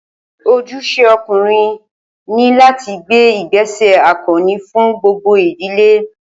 Ojúṣe ọkùnrin ní láti gbé ìgbéṣẹ̀ akọni fún gbogbo ìdílé